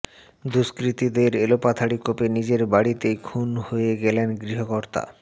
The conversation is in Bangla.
দুষ্কৃতীদের এলোপাথারি কোপে নিজের বাড়িতেই খুন হয়ে গেলেন গৃহকর্তা